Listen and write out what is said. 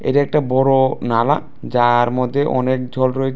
এটা একটা বড় নালা যার মধ্যে অনেক জল রয়ে--